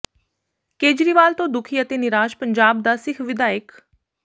ਕੇਜਰੀਵਾਲ ਤੋਂ ਦੁਖੀ ਅਤੇ ਨਿਰਾਸ਼ ਪੰਜਾਬ ਦਾ ਸਿੱਖ ਵਿਧਾਇਕ